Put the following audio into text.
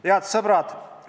Head sõbrad!